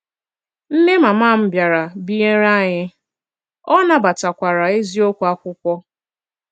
Nne mama m bịara binyere anyị, ọ nabatakwara eziokwu akwụkwo